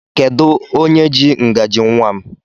Kedụ onye jị ngaji nnwa m?